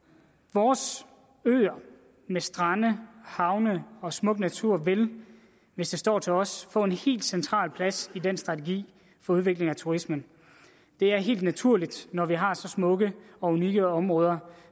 vores øer med strande havne og smuk natur vil hvis det står til os få en helt central plads i den strategi for udvikling af turismen det er helt naturligt når vi har så smukke og unikke områder